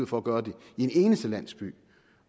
for at gøre det i én eneste landsby